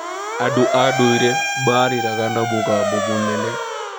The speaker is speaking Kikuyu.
Andũ a ndũire maarĩraga na mũgambo mũnene.